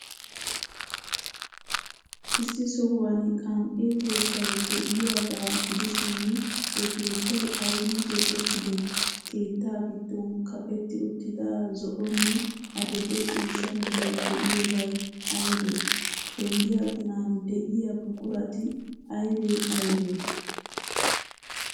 Issi sohuwan qan''e keettay de'iyaagaa gidishin, he keettay aybin keexeettidee? Keetta giddon kaqetti uttida zo'onne adil''e ciishsha meray de'iyoobay aybee? Penggiyaa ginan de'iyaa buqurati aybee aybee?